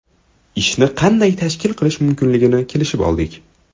Ishni qanday tashkil qilish mumkinligini kelishib oldik.